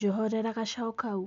Njohorera gacau kau.